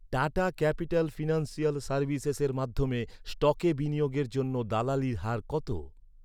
Tata capital financial সার্ভিসেসের মাধ্যমে স্টকে বিনিয়োগের জন্য দালালির হার কত?